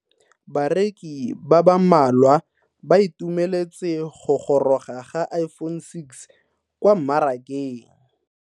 Bareki ba ba malwa ba ituemeletse go goroga ga Iphone6 kwa mmarakeng.